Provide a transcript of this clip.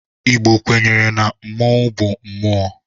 Igbo kwenyere na mmọnwu bu mmụọ.